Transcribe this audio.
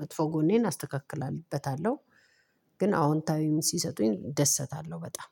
መጥፎ ጎኔን አስተካክላለሁ። ግን አዎንታዊ ሲሰጡኝ እደሰታለሁ በጣም